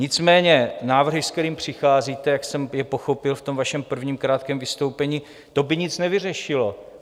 Nicméně návrhy, s kterými přicházíte, jak jsem je pochopil v tom vašem prvním krátkém vystoupení, to by nic nevyřešilo.